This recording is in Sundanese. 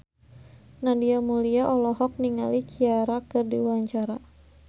Nadia Mulya olohok ningali Ciara keur diwawancara